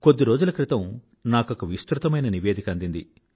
కొద్ది రోజుల క్రితం నాకొక విస్తృతమైన రిపోర్ట్ అందింది